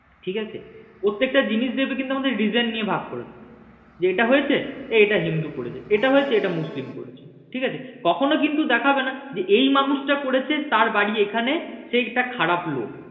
ঠিক আছে প্রত্যেকটা জিনিস দেখবে আমাদের reason নিয়ে ভাগ করেছে যে এটা হয়েছে এটা হিন্দু করেছে এটা হয়েছে এটা মুসলিম করেছে ঠিক আছে কখনো কিন্তু দেখাবে না যে এই মানুষ টা করেছে তার বাড়ি এখানে সে একটা খারাপ লোক।